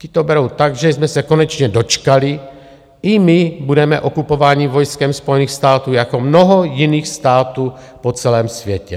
Ti to berou tak, že jsme se konečně dočkali, i my budeme okupováni vojskem Spojených států jako mnoho jiných států po celém světě.